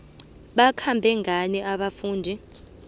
bakhambe ngani abafundi